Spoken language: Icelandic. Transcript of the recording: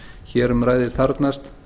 hér um ræðir þarfnast